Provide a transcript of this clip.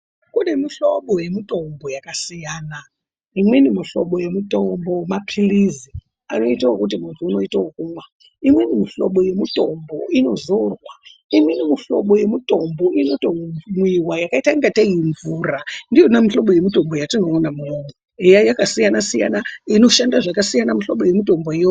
Kune muhlobo wemutombo yakasiyana imweni muhlobo yemutombo mapirizi imweni muhlobo wemutombo unoita wekumwa umweni unoitwa wekuzora imweni muhlobo yemutombo unotomwiwa wakaita kunge imvura ndiyo muhlobo yemutombo yatinoona eya yakasiyana siyana inoshanda zvakasiyana muhlobo yemutomboyo.